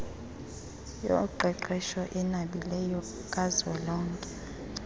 yoqeqesho enabileyo kazwelonke